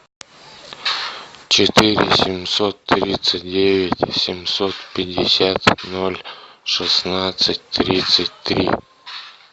четыре семьсот тридцать девять семьсот пятьдесят ноль шестнадцать тридцать три